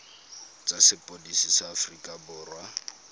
tsa sepodisi sa aforika borwa